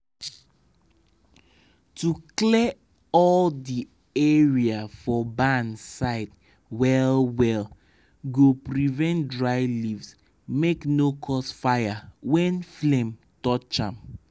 to dey clear all di area for barn side well well go prevent dry leaves make no cause fire when flame touch am.